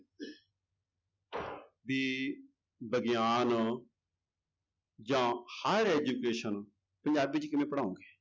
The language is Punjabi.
ਵੀ ਵਿਗਿਆਨ ਜਾਂ higher education ਪੰਜਾਬੀ ਚ ਕਿਵੇਂ ਪੜ੍ਹਾਓਂਗੇ।